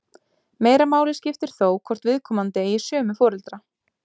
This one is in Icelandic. Meira máli skiptir þó hvort viðkomandi eigi sömu foreldra.